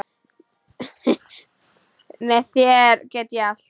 Með þér get ég allt.